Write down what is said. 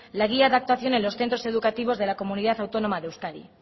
la guía de actuación en los centros educativos de la comunidad autónoma de euskadi